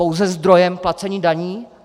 Pouze zdroj placení daní?